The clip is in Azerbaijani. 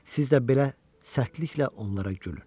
Siz də belə sərtliklə onlara gülün.